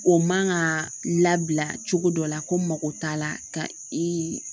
O man ka labila cogo dɔ la ko mako t'a la ka i